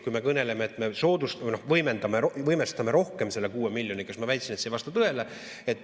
Kui me kõneleme, et me võimestame rohkem selle 6 miljoniga, siis ma väitsin, et see ei vasta tõele.